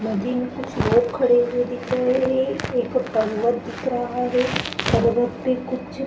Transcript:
नदी में कुछ लोग खड़े हुए है दिख रहे है एक पांगहत दिख रहा है खड़े हुए कुछ--